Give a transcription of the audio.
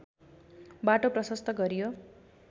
बाटो प्रशस्त गरियो